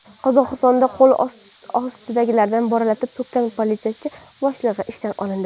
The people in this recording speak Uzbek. Qozog‘istonda qo‘l ostidagilarni bo‘ralatib so‘kkan politsiya boshlig‘i ishdan olindi.